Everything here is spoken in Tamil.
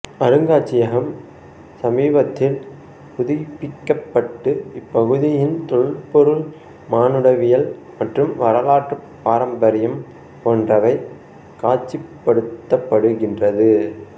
அருங்காட்சியகம் சமீபத்தில் புதுப்பிக்கப்பட்டு இப்பகுதியின் தொல்பொருள் மானுடவியல் மற்றும் வரலாற்று பாரம்பரியம் போன்றவை காட்சிப்படுத்தப்படுகின்றது